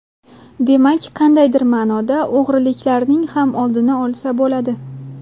Demak, qandaydir ma’noda o‘g‘riliklarning ham oldini olsa bo‘ladi.